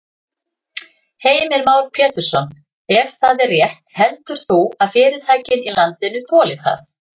Heimir Már Pétursson: Ef það er rétt heldur þú að fyrirtækin í landinu þoli það?